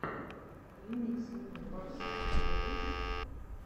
ремикс милы барси у тебя есть